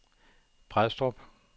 Brædstrup